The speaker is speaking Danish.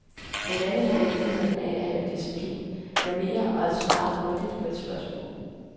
Han lærte mig vigtigheden af at have disciplin, manerer og at svare grundigt på et spørgsmål.